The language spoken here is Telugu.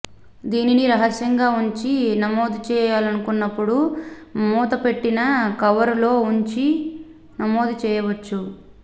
దీనిని రహస్యంగా వుంచి నమోదుచేయాలనుకున్నప్పుడు మూతపెట్టిన కవరులో వుంచి నమోదు చేయవచ్చు